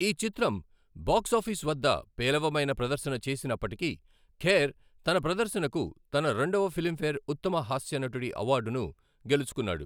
ఈ చిత్రం బాక్సాఫీస్ వద్ద పేలవమైన ప్రదర్శన చేసినప్పటికీ, ఖేర్ తన ప్రదర్శనకు తన రెండవ ఫిలింఫేర్ ఉత్తమ హాస్య నటుడి అవార్డును గెలుచుకున్నాడు.